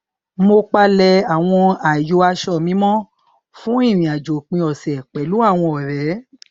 mo palẹ àwọn ààyò aṣọ mi mọ fún ìrìnàjò òpin ọsẹ pẹlú àwọn ọrẹ